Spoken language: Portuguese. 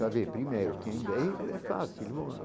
Saber primeiro quem vê e vê fácil.